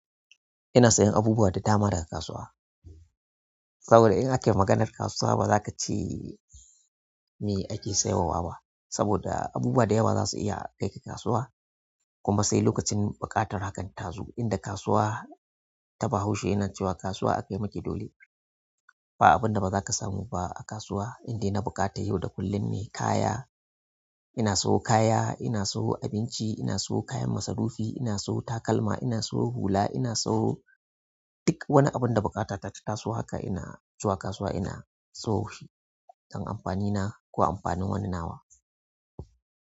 Ina sayan abubuwa da dama daga kasuwa. Saboda in ake maganar kasuwa ba za ka ce me ake sai wa ba. Saboda abubuwa dayawa zasu iya kaika kasuwa kuma sai lokacin buƙatar hakan ta zo, inda kasuwa ta bahaushe yana cewa kasuwa akai miki dole ba abin da ba za ka samu ba a kasuwa, indai na buƙata yau da kullum ne kaya. Ina sawo kaya ina sawo abinci ina sawo kayan masarufi ina sawo takalma ina sawo hula ina sawo duk wani abin da buƙata ta taso haka ina zuwa kasuwa ina sawo shi dan amfani na ko amfanin wani nawa.